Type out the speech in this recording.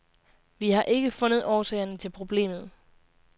Vi har ikke fundet årsagerne til problemet.